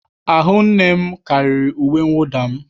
Ahụ nne m karịrị uwe mwụda m.